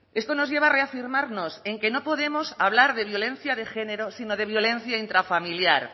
esto nos lleva a reafirmarnos en que no podemos hablar de violencia de género sino de violencia intrafamiliar